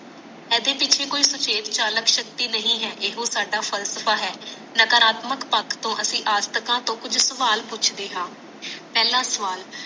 ਏਦੇ ਪਿੱਛੇ ਕੋਈ ਸੁਚੇਤ ਚਾਲਕ ਸ਼ਕਤੀ ਨਹੀਂ ਹੈ ਇਹ ਹੋ ਸਾਡਾ ਫਲਸਫਾ ਹੈ ਨਾਕਰਾਤਮਕ ਪਖ ਤੋਂ ਅਸੀਂ ਅਜਤਕਾਂ ਤੋਂ ਕੁਛ ਸਵਾਲ ਪੁੱਛਦੇ ਹਾਂ ਪਹਿਲਾਂ ਸਵਾਲ